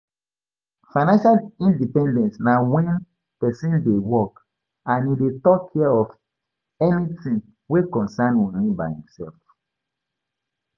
Financial independence na when persin de work and e de tok care of anything wey concern money by himself